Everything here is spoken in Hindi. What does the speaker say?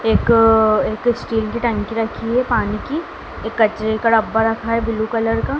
एक अ एक स्टील की टंकी रखी है पानी की एक कचरे का डब्बा रखा है ब्लू कलर का।